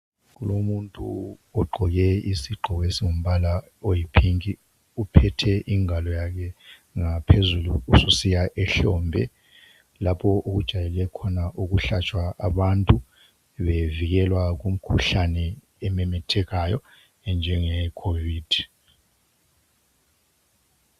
Umuntu ogqoke isigqoko esingumbala oyipink. Uphethe ingalo yakhe ngaphezulu ususiya ehlombe lapho okujayele khona ukuhlatshwa abantu bevikelwa kumkhuhlane ememethekayo enjengeyeCovid.